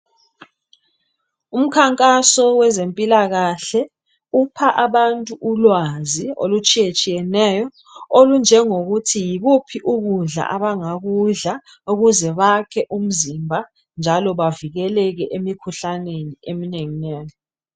Umikhankaso wezempilakahle upha abantu ulwazi olutshiye tshiyeneyo olunjengokuthi yikuphi ukudla abangakudla ukuze bakhe umzimba njalo bavikeleke emikhuhlaneni eminengi nengi